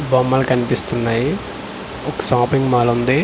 బొమ్మలు కన్పిస్తున్నాయి ఒక సాపింగ్ మాలుంది .